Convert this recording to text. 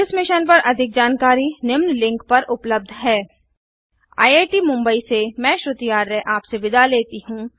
इस मिशन पर अधिक जानकारी निम्न लिंक पर उपलब्ध है httpspoken tutorialorgNMEICT Intro यह स्क्रिप्ट लता द्वारा अनुवादित है मैं यश वोरा अब आप से विदा लेता हूँ